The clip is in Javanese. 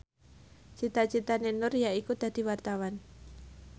cita citane Nur yaiku dadi wartawan